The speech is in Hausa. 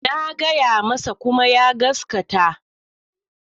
Na gaya masa kuma ya gaskata.